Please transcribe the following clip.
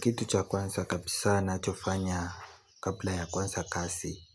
Kitu cha kwanza kabisa nachofanya kabla ya kwanza kasi